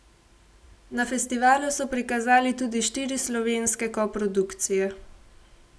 Na festivalu so prikazali tudi štiri slovenske koprodukcije.